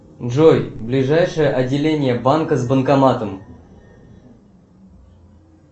джой ближайшее отделение банка с банкоматом